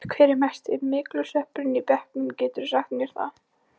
Hver er mesti myglusveppurinn í bekknum, geturðu sagt mér það?